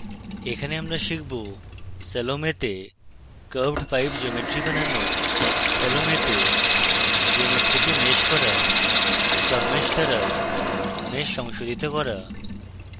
এখানে আমরা শিখব salome তে curved pipe geometry বানানো salome তে geometry কে mesh করা submesh দ্বারা mesh সংশোধিত করা